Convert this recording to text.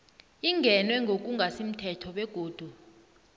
ingenwe ngokungasimthetho begodu